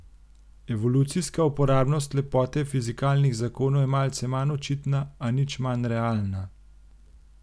Evolucijska uporabnost lepote fizikalnih zakonov je malce manj očitna, a nič manj realna.